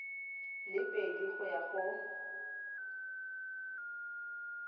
le pedi go ya go